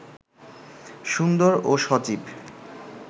সুন্দর ও সজীব